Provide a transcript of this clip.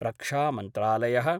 रक्षामन्त्रालय: